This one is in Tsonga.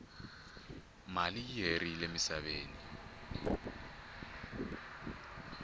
mali i herile musaveni